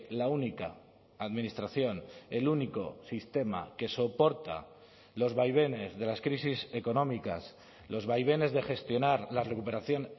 la única administración el único sistema que soporta los vaivenes de las crisis económicas los vaivenes de gestionar la recuperación